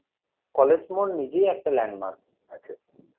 college মোড় নিজে একটা landmark আছে